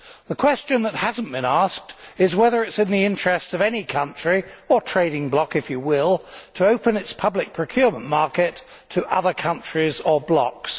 The question which has not been asked is whether it is in the interests of any country or trading bloc, if you will, to open its public procurement market to other countries or blocs.